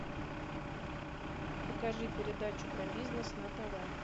покажи передачу про бизнес на тв